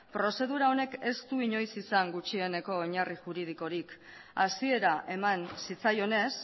prozedura honek ez du inoiz izan gutxieneko oinarri juridikorik hasiera eman zitzaionez